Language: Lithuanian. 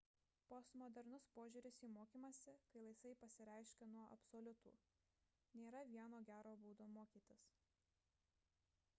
postmodernus požiūris į mokymąsi kai laisvai pasireiškia nuo absoliutų nėra vieno gero būdo mokytis